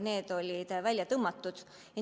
Need olid välja tõmmatud.